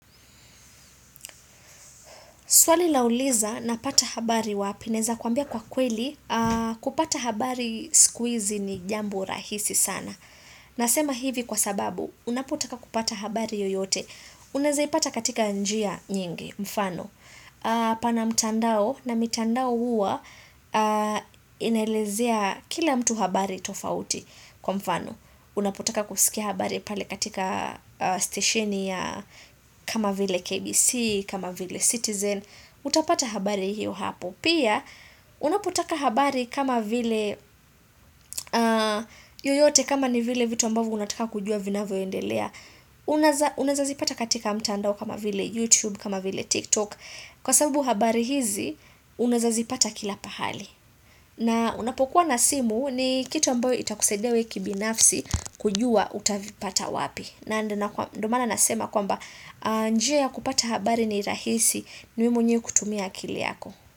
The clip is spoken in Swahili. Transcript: Swali lauliza napata habari wapi naeza kwambia kwa kweli kupata habari sikuizi ni jambo rahisi sana. Nasema hivi kwa sababu unapotaka kupata habari yoyote. Unazaipata katika njia nyingi mfano. Pana mtandao na mitandao huwa inaelezea kila mtu habari tofauti kwa mfano. Unapotaka kusikia habari pale katika stesheni ya kama vile KBC, kama vile Citizen Utapata habari hiyo hapo Pia, unapotaka habari kama vile yoyote kama ni vile vitu ambavyo unataka kujua vinavyoendelea Unaeza zipata katika mtandao kama vile YouTube, kama vile TikTok Kwa sababu habari hizi, unaeza zipata kila pahali na unapokuwa na simu ni kitu ambayo itakusaidia we kibinafsi kujua utavipata wapi. Na ndo maana nasema kwamba njia ya kupata habari ni rahisi ni wewe mwenyewe kutumia akili yako.